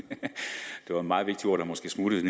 var et meget vigtigt ord der måske smuttede